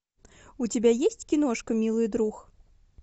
у тебя есть киношка милый друг